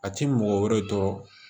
A ti mɔgɔ wɛrɛ tɔ